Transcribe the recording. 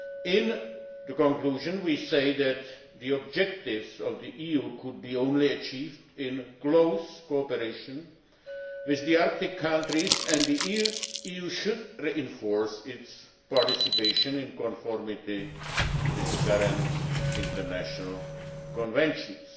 In the conclusion we say that the objectives of the EU could only be achieved in close cooperation with the Arctic countries, and the EU should enforce its participation in conformity with the current international conventions.